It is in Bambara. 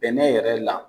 Bɛnɛ yɛrɛ la